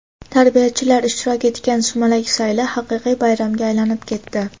tarbiyachilar ishtirok etgan sumalak sayli haqiqiy bayramga aylanib ketdi.